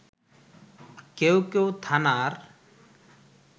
কেউ কেউ থানার